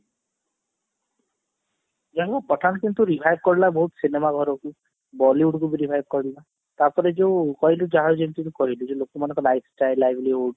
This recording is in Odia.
ଯାହା ହଉ pathan film ଟା revive କରିଦେଲା ବହୁତ ସିନେମା ଘରକୁ Bollywood କୁ ବି revive କରିଦେଲା ତାପରେ ଯୋଉ କହିଲୁ ଯାହାର ଯେମତି ଯୋଉ କହିଲୁ ଯୋଉ ଲୋକମାନଙ୍କର ଲାଇଫସ୍ଟାଇଲ